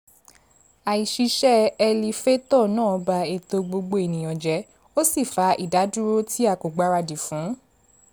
àìṣiṣẹ́ ẹlifétọ̀ náà ba ètò gbogbo ènìyàn jẹ́ ó sì fa ìdádúró tí a kò gbáradì fún